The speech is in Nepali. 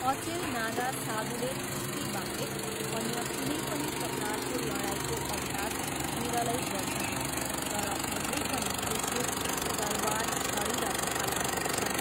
अचेल नागा साधुले कुस्तीबाहेक अन्य कुनै पनि प्रकारको लडाइँको अभ्यास विरलै गर्छन्, तर अझै पनि त्रिशूल, तरवार, छडी र भाला बोक्छन्।